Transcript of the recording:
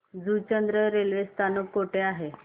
Juchandra railway स्थानक कुठे आहे